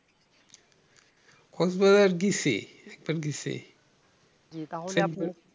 কক্সবাজারে গিয়েছি